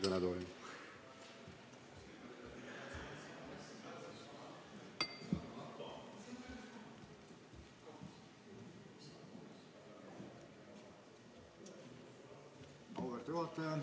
Auväärt juhataja!